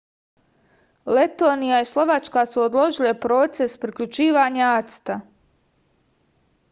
letonija i slovačka su odložile proces priključivanja acta